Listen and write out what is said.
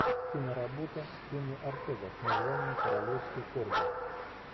киноработа кенни ортега с названием королевские корги